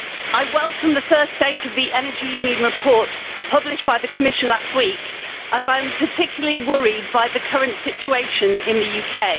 I welcome the first stage of the Energy Union report published by the Commission last week, as I am particularly worried by the current situation in the UK.